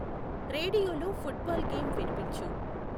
రేడియోలో football game విన్పించు